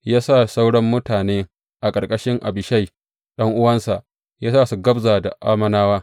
Ya sa sauran mutanen a ƙarƙashin Abishai ɗan’uwansa, ya sa su gabza da Ammonawa.